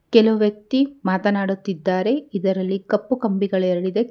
ಕೆಲವು ವ್ಯಕ್ತಿ ಮಾತನಾಡುತ್ತಿದ್ದಾರೆ ಇದರಲ್ಲಿ ಕಪ್ಪು ಕಂಬಿಗಳು ಎರಡಿದೆ.